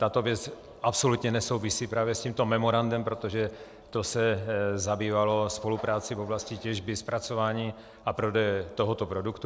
Tato věc absolutně nesouvisí právě s tímto memorandem, protože to se zabývalo spoluprací v oblasti těžby, zpracování a prodeje tohoto produktu.